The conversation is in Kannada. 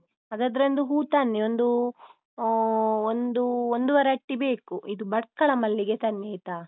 ಹಾಗಾದ್ರೆ ಒಂದು ಹೂ ತನ್ನಿ ಒಂದೂ ಆಹ್ ಒಂದು ಒಂದೂವರೆ ಅಟ್ಟಿ ಬೇಕು ಇದು ಭಟ್ಕಳ ಮಲ್ಲಿಗೆ ತನ್ನಿ ಆಯ್ತಾ?